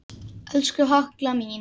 Elsku Halla mín.